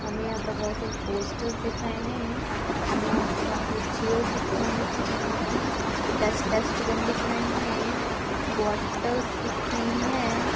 हमें यहाँ पर बहुत सारे पोस्टरस दिख रहे हैं हमें यहाँ पर बहुत सारी चेअरस दिख रही है स्टील की डस्ट डस्टबिन देख रहे है बोटलस दिख रही है।